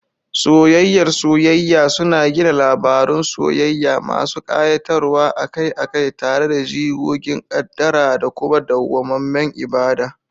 Soyayyar soyayya suna gina labarun soyayya masu kayatarwa, akai-akai tare da jigogin kaddara da kuma dawwamammen ibada.